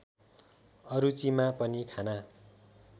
अरुचिमा पनि खाना